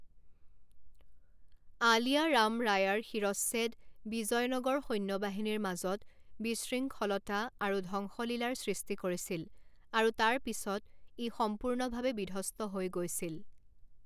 আলিয়া ৰাম ৰায়াৰ শিৰচ্ছেদ বিজয়নগৰ সৈন্যবাহিনীৰ মাজত বিশৃংখলতা আৰু ধ্বংসলীলাৰ সৃষ্টি কৰিছিল, আৰু তাৰ পিছত ই সম্পূৰ্ণভাৱে বিধ্বস্ত হৈ গৈছিল।